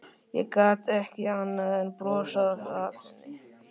Ég gat ekki annað en brosað að henni.